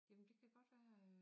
Jamen det kan godt være øh